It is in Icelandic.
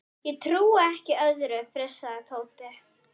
Ég trúi ekki öðru, fussaði Tóti.